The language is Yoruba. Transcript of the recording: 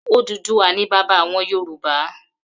Odùduwà ni bàbá àwon Yorùbá.